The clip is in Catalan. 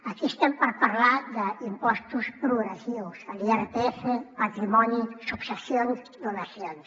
aquí estem per parlar d’impostos progressius l’irpf patrimoni successions i donacions